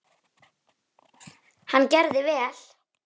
Hann gerði vel.